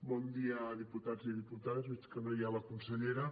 bon dia diputats i diputades veig que no hi ha la consellera